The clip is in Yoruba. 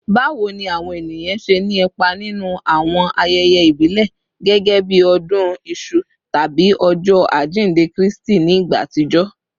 Bawo ni awọn eniyan ṣe ni ipa ninu awọn ayẹyẹ ibile gẹgẹbi odun isu tabi Ọjọ ajinde Kristi ni igba atijọ?